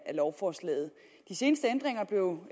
lovforslaget de seneste ændringer blev